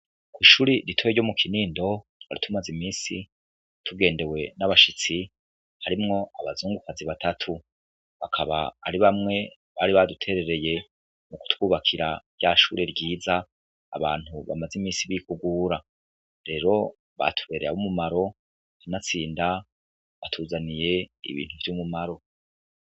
Ishure ritoyi ryo mu Kinindo twari tumaze imisi tugendewe n'abashitsi harimwo abazungukazi batatu, bakaba ari bamwe bari baduterereye mu kutwubakira rya shure ryiza abantu bamaze imisi bikugura. Rero batubereye ab'umumaro, kanatsinda batuzaniye ibintu vy'umumaro.